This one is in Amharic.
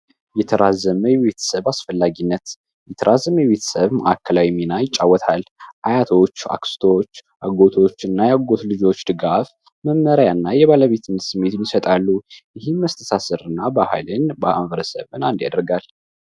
የተራዘመ የቤተሰብ አአስፈላጊነት የተራዘመ ቤተሰብ ማዕከላዊ ሚና ይጫወታል። አያቶች ፣አክስቶች ፣አጎቶች እና የአጎት ልጆች ድጋፍ ፣መመሪያ እና የባለቤትነት ስሜት ይሰጣሉ። ይህ መስተሳሰር እና ባህልን አንድ ያደርጋል።